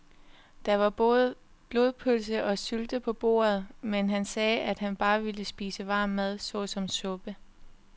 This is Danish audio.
Der var både blodpølse og sylte på bordet, men han sagde, at han bare ville spise varm mad såsom suppe.